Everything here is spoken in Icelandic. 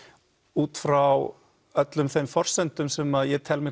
út frá öllum þeim forsendum sem ég tel mig